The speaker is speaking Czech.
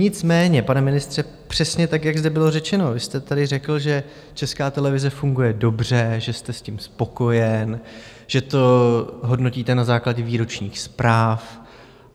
Nicméně, pane ministře, přesně tak, jak zde bylo řečeno, vy jste tady řekl, že Česká televize funguje dobře, že jste s tím spokojen, že to hodnotíte na základě výročních zpráv.